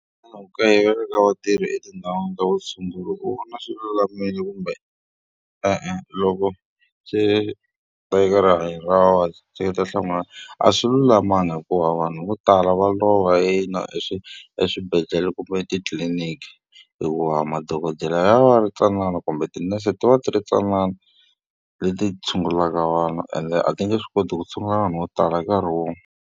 kayivela ka vatirhi etindhawini ta vutshunguri u vona swi lulamile kumbe e-e, loko swi ta eka rihanyo ra vavabyi? Seketela nhlamuselo ya wena. A swi lulamanga hikuva vanhu vo tala va lova eswibedhlele kumbe etitliliniki. Hikuva madokodela ya va ya ri mantsanana kumbe tinese ti va ti ri tintsanana leti tshungulaka vanhu ende a ti nge swi koti ku tshungula vanhu vo tala nkarhi wun'we.